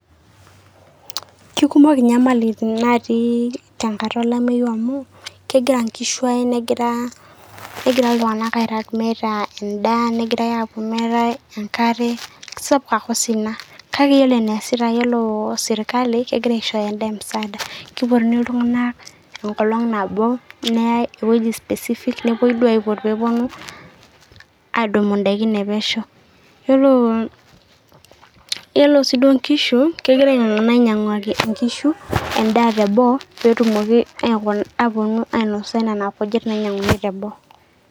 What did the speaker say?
Kikumok inyamalitin natii tenkata olameyu amu, kegira nkishu ae negira iltung'anak airrag meeta endaa, negirai apuo meetae enkare, supa osina. Kake ore eneesita yiolo sirkali, kegira aishooyo endaa emusaada. Kipotuni iltung'anak enkolong' nabo, neyai ewueji specific ,nepoi duo aipot peponu adumu idaikin epesho. Yiolo yiolo si duo nkishu, kegira ainyang'aki nkishu endaa teboo, petumoki aponu ainosa nena kujit nainyang'uni teboo.